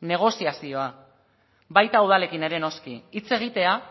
negoziazioa baita udalekin ere noski hitz egitea